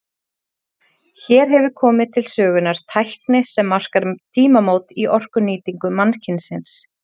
Hér hefur komið til sögunnar tækni sem markar tímamót í orkunýtingu mannkynsins.